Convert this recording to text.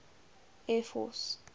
air force